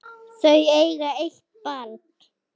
Þau eiga eitt barn.